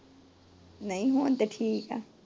ਨਹੀਂ ਹੁਣ ਤਾਂ ਠੀਕ ਏ।